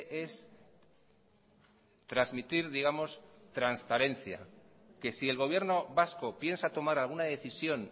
es transmitir digamos transparencia que si el gobierno vasco piensa tomar alguna decisión